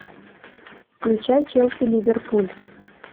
включай челси ливерпуль